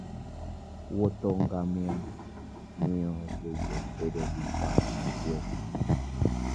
Wuodh ngamia miyo jowuoth bedo gi paro mokuwe.